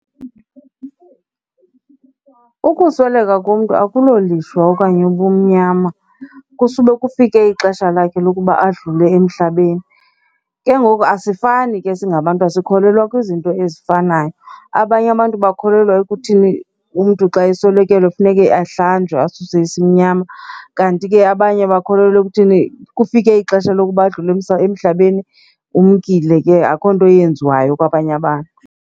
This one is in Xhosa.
Ukusweleka kumntu akulolishwa okanye ubumnyama. Kusube kufike ixesha lakhe lokuba adlule emhlabeni, ke ngoku asifani ke singabantu asikholelwa kwizinto ezifanayo. Abanye abantu bakholelwa ekuthini umntu xa eswelekelwe funeke ahlanjwe, asuwe isimnyama kanti ke abanye bakholelwa ekuthini kufike ixesha lokuba adlule emhlabeni. Umkile ke akukho nto yenziwayo kwabanye abantu.